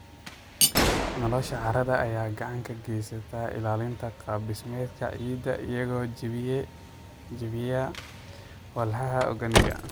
Noolaha carrada ayaa gacan ka geysta ilaalinta qaab dhismeedka ciidda iyagoo jebiya walxaha organic.